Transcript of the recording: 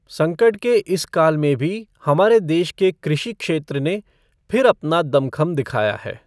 संकट के इस काल में भी हमारे देश के कृषि क्षेत्र ने फिर अपना दमख़म दिखाया है।